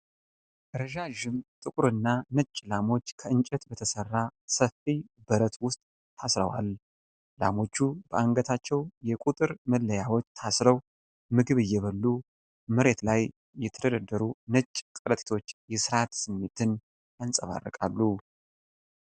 ረዣዥም ጥቁርና ነጭ ላሞች ከእንጨት በተሠራ ሰፊ በረት ውስጥ ታስረዋል። ላሞቹ በአንገታቸው የቁጥር መለያዎች ታስረው ምግብ እየበሉ፣ መሬት ላይ የተደረደሩ ነጭ ከረጢቶች የሥርዓት ስሜትን ያንጸባርቃሉ።